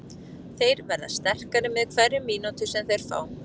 Þeir verða sterkari með hverri mínútu sem þeir fá.